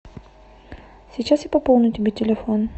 сейчас я пополню тебе телефон